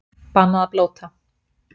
Bannað að blóta